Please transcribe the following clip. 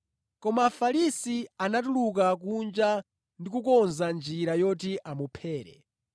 Koma Afarisi anatuluka kunja ndi kukonza njira yoti amuphere.